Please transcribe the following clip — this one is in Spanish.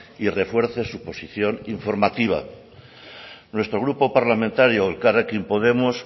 y refuerce su posición informativa nuestro grupo parlamentario elkarrekin podemos